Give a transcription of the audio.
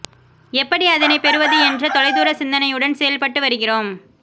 எப்படி அதனை பெறுவது என்ற தொலைதூர சிந்தனையுடன் செயல்பட்டு வருகிறோம்